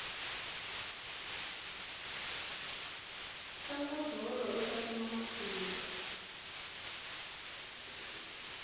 tlanga bolo uta kuma matimba